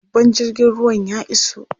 Babban jirgin ruwan ya iso.